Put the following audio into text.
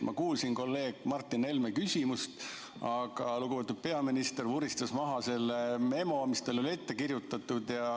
Ma kuulsin kolleeg Martin Helme küsimust, aga lugupeetud peaminister vuristas vastuseks maha selle memo, mis talle ette on kirjutatud.